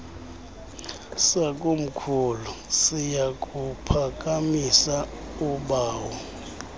sakomkhulu siyakuphakamisa ubawo